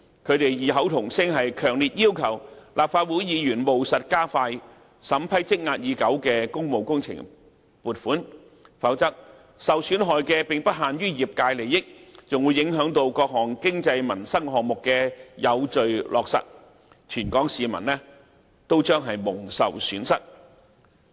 他們異口同聲，強烈要求立法會議員務實加快審批積壓已久的工務工程撥款，否則受損害的並不限於業界利益，還有各項經濟民生項目的有序落實，全港市民均將蒙受損失。